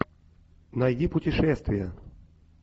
найди путешествие